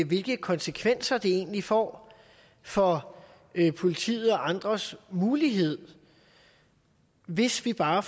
hvilke konsekvenser det egentlig får for politiets og andres muligheder hvis vi bare